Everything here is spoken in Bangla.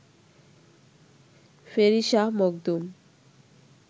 ফেরি শাহ মখদুম